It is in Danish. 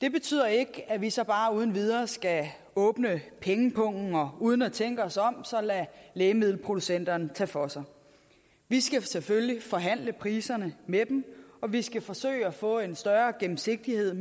det betyder ikke at vi så bare uden videre skal åbne pengepungen og uden at tænke os om lade lægemiddelproducenterne tage for sig vi skal selvfølgelig forhandle priserne med dem og vi skal forsøge at få en større gennemsigtighed